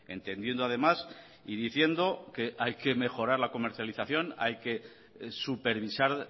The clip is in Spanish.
entendiendo además y diciendo que hay que mejorar la comercialización hay que supervisar